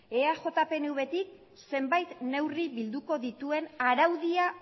eaj pnvtik zenbait neurri bilduko dituen araudia